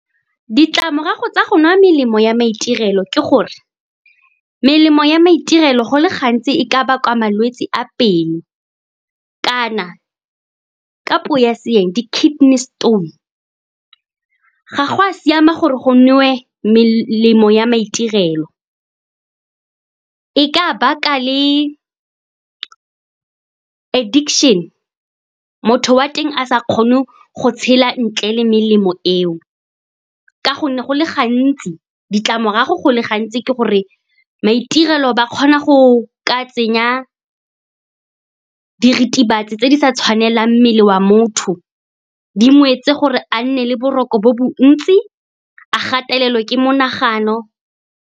Ditlamorago tsa go nwa melemo ya maitirelo ke gore, melemo ya maitirelo go le gantsi e ka bakwa malwetse a , kana ka puo ya seeng, di-kidney stone. Ga go a siama gore go newe melemo ya maitirelo, e ka baka le addiction, motho wa teng a sa kgone go tshela ntle le melemo eo. Ka gonne ditlamorago go le gantsi ke gore maitirelo ba kgona go ka tsenya diritibatsi tse di sa tshwanelang mmele wa motho, di ngwetse gore a nne le boroko bo bontsi, a gatelelwe ke monagano.